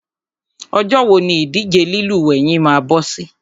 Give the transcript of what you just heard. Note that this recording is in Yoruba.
Ọjọ́ wo ni ìdíje lílúwẹ̀ẹ́ yín máa bọ́ sí?